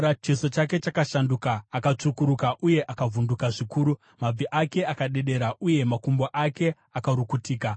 Chiso chake chakashanduka akatsvukuruka uye akavhunduka zvikuru, mabvi ake akadedera uye makumbo ake akarukutika.